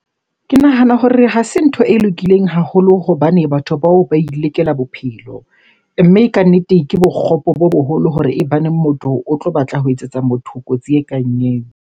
Ke nahana hore ha se ntho e lokileng haholo hobane batho bao ba ilekela bophelo. Mme kannete ke bokgopo bo boholo hore e baneng motho o tlo batla ho etsetsa motho kotsi e kang eo.